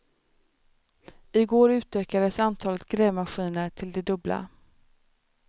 I går utökades antalet grävmaskiner till det dubbla.